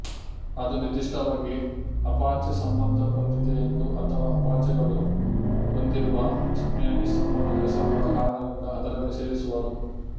ಅದು ನಿರ್ದಿಷ್ಟವಾಗಿ ಅಪಾಚೆ ಸಂಬಂಧ ಹೊಂದಿದೆಯೆಂದು ಅಥವಾ ಅಪಾಚೆಗಳು ಹೊಂದಿರುವ ಸ್ಪ್ಯಾನಿಶ್ ಸಂಬಂಧದ ಹೆಸರುಗಳ ಕಾರಣದಿಂದ ಅದರಲ್ಲಿ ಸೇರಿಸುವರು